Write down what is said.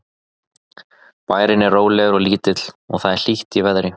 Bærinn er rólegur og lítill og það er hlýtt í veðri.